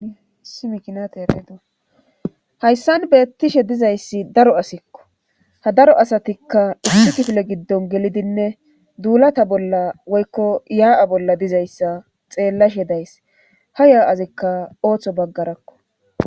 Simikinate ereedo hayssan beettishe dizayssi daro asikko ha daro asatikka issitifle giddon gelidinne duulata bolla woykko yaa7a bolla dizayssa xeellashe days ha ya7azikka ooththo baggarakko